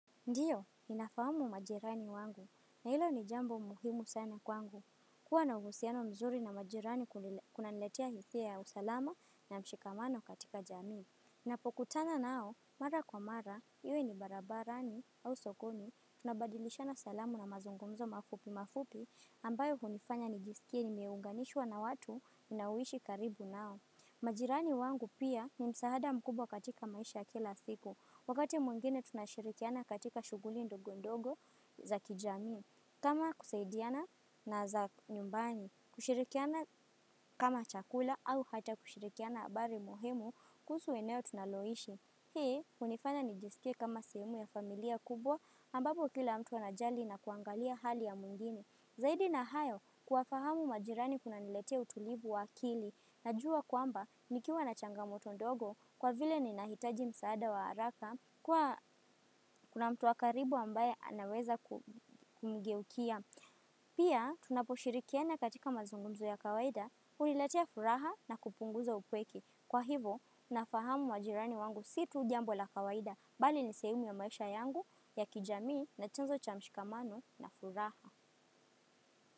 Ndio, ninafahamu majirani wangu. Na ilo ni jambo muhimu sana kwangu. Kuwa na uhusiano mzuri na majirani kunaniletea hisia ya usalama na mshikamano katika jamii. Napokutana nao, mara kwa mara, iwe ni barabarani au sokoni, tunabadilisha na salamu na mazungumzo mafupi mafupi, ambayo hunifanya nijisikie ni meunganishwa na watu ninaoishi karibu nao. Majirani wangu pia, ni msaada mkubwa katika maisha ya kila siku. Wakati mwingine tunashirikiana katika shughuli ndogo ndogo, za kijami, kama kusaidiana na za nyumbani. Kushirikiana kama chakula au hata kushirikiana habari muhimu kuhusu eneo tunaloishi. Hii, unifanya nijisikie kama sehemu ya familia kubwa, ambapo kila mtu anajali na kuangalia hali ya mwingine. Zaidi na hayo kuwa fahamu majirani kuna niletea utulivu wa akili na jua kwamba, nikiwa na changamoto ndogo kwa vile ni nahitaji msaada wa haraka kwa kuna mtu wakaribu ambaye anaweza kumgeukia. Pia, tunaposhirikiana katika mazungumzo ya kawaida, huniletea furaha na kupunguza upweke. Kwa hivo nafahamu majirani wangu si tu jambo la kawaida bali ni sehemu ya maisha yangu, ya kijamii na chanzo cha mshikamano na furaha.